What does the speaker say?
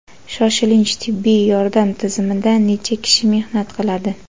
Shoshilinch tibbiy yordam tizimida necha kishi mehnat qiladi?.